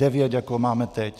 Devět, jako máme teď.